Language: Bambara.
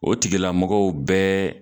O tigilamɔgɔw bɛɛ